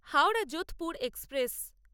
Howrah Jodhpur express